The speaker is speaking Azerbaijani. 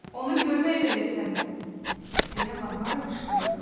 "Onu görmək belə istəmirəm!" deyə Varvara qışqırırdı.